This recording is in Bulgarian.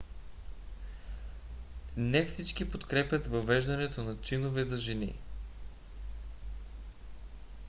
не всички подкрепят въвеждането на чинове за жени